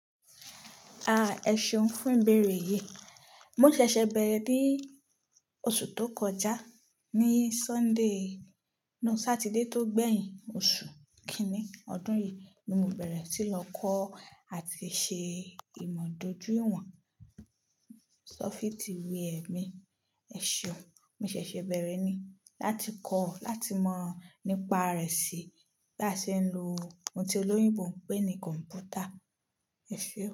Ah, ẹ̀ṣọ́ fún ìbẹ̀rẹ̀ yìí. Mo ṣẹ̀ṣẹ̀ bẹ̀rẹ̀ ní oṣù tó kọjá, ní Sunday, no Satidé tó gbẹ̀yìn oṣù kínní ọdún yìí ni mo bẹ̀rẹ̀ sí lọ kọ́ àti ṣe ìmọ̀ dojú ìwọ̀n. Sọ́fìtì wéa mi, ẹ̀ṣeun. Mo ṣẹ̀ṣẹ̀ bẹ̀rẹ̀ ni láti kọ́, láti mọ̀ nípa rẹ̀ sí bí a ṣe ń lo ohun tí olóyìnbo ń pè ní kọ̀m̀pútà. E ṣe.